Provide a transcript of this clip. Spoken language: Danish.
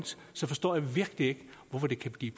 så forstår jeg virkelig ikke hvorfor det kan blive